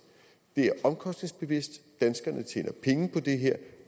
det er omkostningsbevidst danskerne tjener penge på det her